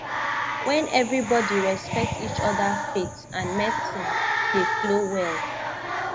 when everybody respect each other faith and medicine dey flow well